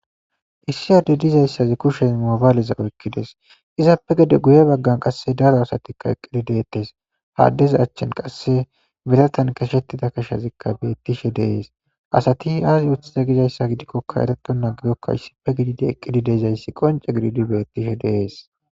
issi aadde dizayssazi kushez mobayaleza oykkides izaappe gede guye baggan qasse daro asatikka eqqidi deettes haaddeza achchen qasse biratan kashettida kashazikka bettishe deees asati aazi uthida gizayssa gidikkokka ereto na gidokka issife gidide eqqidi deizayssi qonce gididi beettishe deees